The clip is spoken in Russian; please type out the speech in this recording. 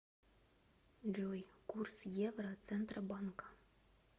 джой курс евро центробанка